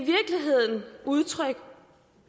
udtryk